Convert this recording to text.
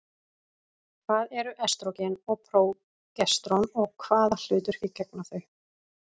Hvað eru estrógen og prógesterón og hvaða hlutverki gegna þau?